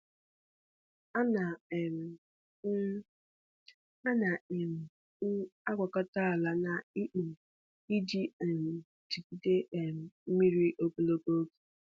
Ana um m Ana um m agwakọta ala na ikpo iji um jigide um mmiri ogologo oge.